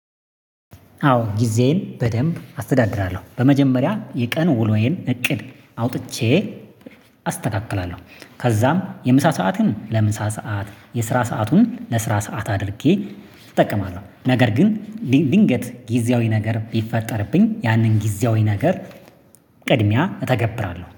አዎ! ጊዜዬን በደንብ አስተዳድራለሁ። በመጀመሪያ የቀኑ ውሎዬን እቅድ አውጥቼ እ አስተካክላለሁ፤ ከዛም የምሳ ሰዓትን ለምሳ ሰዓት፤ የስራ ሰአቱን ለስራ ሰዓት፤ አድርጌ እጠቀማለሁ። ነገር ግን ድን ድንገት ጊዜያዊ ነገር ቢፈጠርብኝ ያንን ጊዜያዊ ነገር ቅድሚያ እተገብራለሁ።